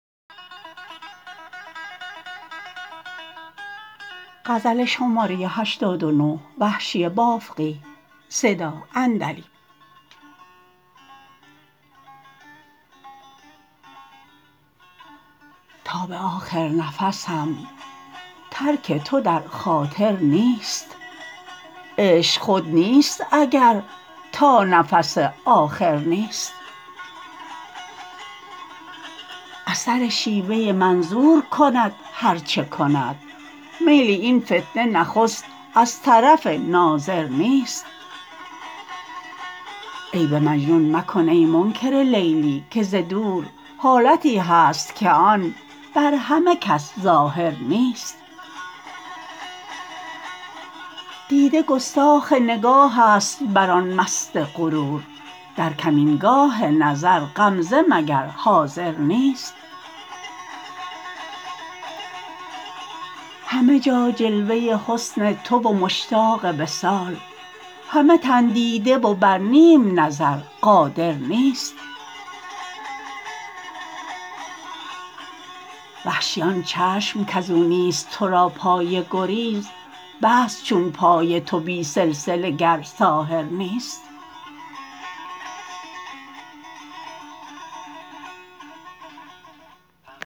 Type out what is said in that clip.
تا به آخر نفسم ترک تو در خاطر نیست عشق خود نیست اگر تا نفس آخر نیست اثر شیوه منظور کند هر چه کند میل این فتنه نخست از طرف ناظر نیست عیب مجنون مکن ای منکر لیلی که ز دور حالتی هست که آن بر همه کس ظاهر نیست دیده گستاخ نگاهست بر آن مست غرور در کمینگاه نظر غمزه مگر حاضر نیست همه جا جلوه حسن تو و مشتاق وصال همه تن دیده و بر نیم نظر قادر نیست وحشی آن چشم کزو نیست تو را پای گریز بست چون پای تو بی سلسله گر ساحر نیست